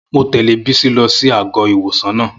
Mon tẹ̀lé Bisi lọ sí àgọ́-ìwòsàn náà